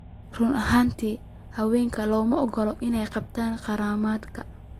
Run ahaanti, haweenka looma ogola inay qaataan khamriga.